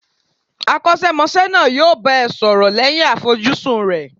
Akosemose náà yo bá ẹ sọrọ lẹ́yìn àfojúsùn rẹ